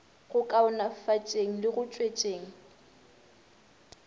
go kaonafatšeng le go tšwetšeng